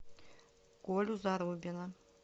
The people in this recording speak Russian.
колю зарубина